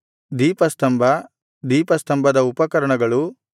ದೀಪಸ್ತಂಭ ದೀಪಸ್ತಂಭದ ಉಪಕರಣಗಳು